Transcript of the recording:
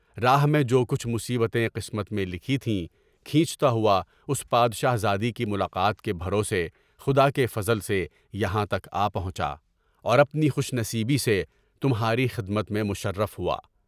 راہ میں جو کچھ مصیبتیں قسمت میں لکھی تھیں، کینچتا ہوا اس بادشاہ زادی کی ملاقات کے بھروسے، خدا کے فضل سے یہاں تک پہنچا، اور خوش نصیبی سے تمہاری خدمت میں مشرف ہوا۔